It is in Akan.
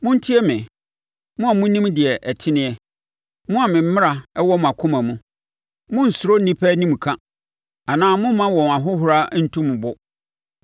“Montie me, mo a monim deɛ ɛteneɛ, mo a me mmara wɔ mo akoma mu: Monnsuro nnipa animka anaa momma wɔn ahohora ntu mo bo.